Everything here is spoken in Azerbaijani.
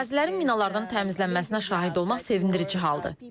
Ərazilərin minalardan təmizlənməsinə şahid olmaq sevindirici haldır.